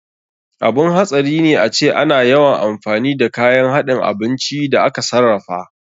Abun hatsari ne ace ana yawan amfani da kayan haɗin abinci da aka sarrafa.